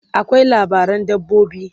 akwai labaran dabbobi